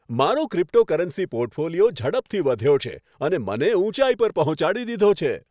મારો cryptocurrency portfolio ઝડપથી વધ્યો છે અને મને ઉંચાઈ પર પહોંચાડી દીધો છે.